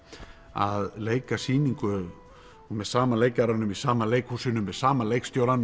að leika sýningu með sama leikaranum í sama leikhúsinu með sama leikstjórann